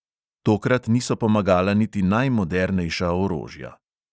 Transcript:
Tokrat niso pomagala niti najmodernejša orožja.